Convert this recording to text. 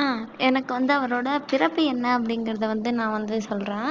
ஆஹ் எனக்கு வந்து அவரோட பிறப்பு என்ன அப்படிங்கிறதை வந்து நான் வந்து சொல்றேன்